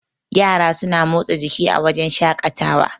yara suna motsa jiki a wajen shaƙatawa